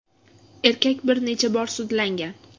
Erkak bir necha bor sudlangan.